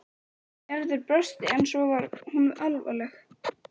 Gerður brosti en svo varð hún alvarleg.